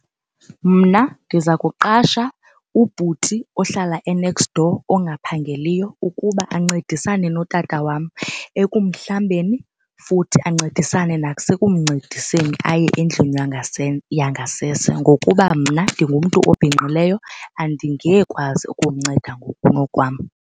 Mna ndiza kuqasha ubhuti ohlala e-next door ongaphangeliyo ukuba ancedisane notata wam ekumhlambeni futhi ancedisane nasekumncediseni aye endlini yangasese ngokuba mna ndingumntu obhinqileyo andingekwazi ukumnceda ngokunokwam.